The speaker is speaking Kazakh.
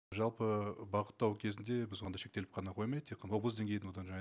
жалпы бағыттау кезінде біз онда шектеліп қана қоймай тек қана облыс деңгейі одан жаңа